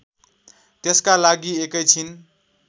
त्यसका लागि एकैछिन